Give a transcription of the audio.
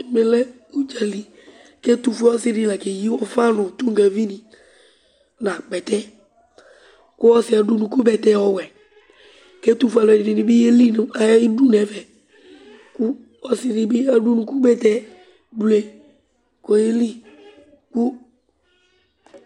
Ɛmɛlɛ ʋdzali Ɛtuƒue ɔsì ɖi la keyi ʋfa ɖu ŋu tonʋgavi ni ŋu akpɛtɛ Ɔsì'ɛ laɖu ʋnʋku bɛtɛ ɔwɛ kʋ ɛtuƒue alʋɛdìní bi yeli ŋu ayʋ iɖu ŋu ɛfɛ Ɔsiɖi bi aɖu ʋnʋku bɛtɛ bleu kʋ oyeli